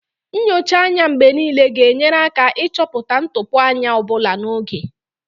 Nyocha anya mgbe niile ga-enyere aka ịchọpụta ntụpọ anya ọ bụla n'oge